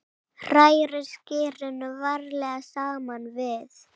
Hrærið skyrinu varlega saman við.